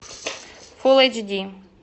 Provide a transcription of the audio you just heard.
фулл эйч ди